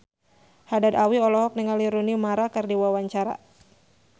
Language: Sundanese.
Haddad Alwi olohok ningali Rooney Mara keur diwawancara